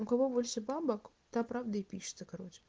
у кого больше бабок та правда и пишется короче